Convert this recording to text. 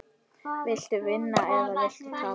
Viltu vinna eða viltu tapa?